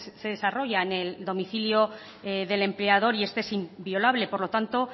se desarrolla en el domicilio del empleador y este es inviolable por lo tanto